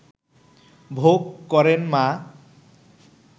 ভোগ করেন মা